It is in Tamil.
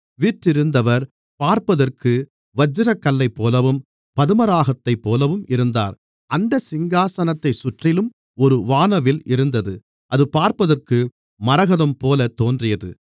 வீற்றிருந்தவர் பார்ப்பதற்கு வச்சிரக்கல்லைப்போலவும் பதுமராகத்தைப்போலவும் இருந்தார் அந்த சிங்காசனத்தைச் சுற்றிலும் ஒரு வானவில் இருந்தது அது பார்ப்பதற்கு மரகதம்போல தோன்றியது